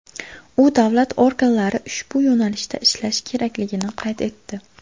U davlat organlari ushbu yo‘nalishda ishlashi kerakligini qayd etdi.